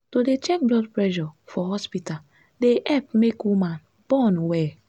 to dey check blood pressure for hospita dey epp make woman born welll